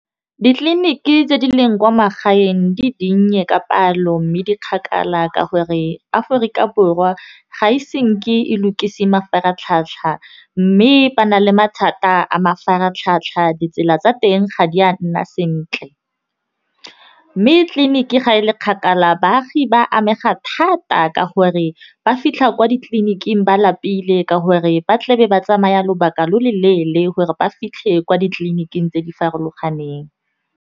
Ditleliniki tse di leng kwa magaeng di dinnye ka palo mme di kgakala ka gore, Aforika Borwa ga e se nke e lokise mafaratlhatlha mme ba na le mathata a mafaratlhatlha ditsela tsa teng ga di a nna sentle. Mme tleliniki ga e le kgakala baagi ba amega thata ka gore ba fitlha kwa ditleliniking ba lapile ka gore, ba tla be ba tsamaya lobaka lo lo leele gore ba fitlhe kwa ditleliniking tse di farologaneng.